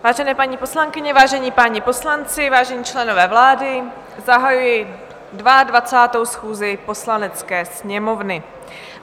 Vážené paní poslankyně, vážení páni poslanci, vážení členové vlády, zahajuji 22. schůzi Poslanecké sněmovny.